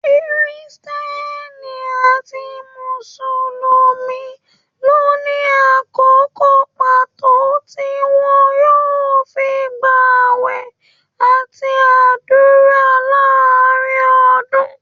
Kírísítẹ́nì àti mùsùlùmí ló ní àkókò pàtó tí wọn yóò fí gb'àwẹ àti ádùrá láàrín ọdún.